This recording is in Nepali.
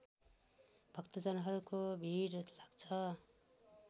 भक्तजनहरूको भिड लाग्छ